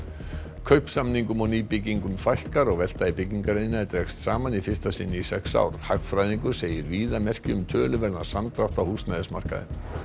kaupsamningum og nýbyggingum fækkar og velta í byggingariðnaði dregst saman í fyrsta sinn í sex ár hagfræðingur segir víða merki um töluverðan samdrátt á húsnæðismarkaði